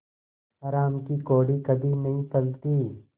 हराम की कौड़ी कभी नहीं फलती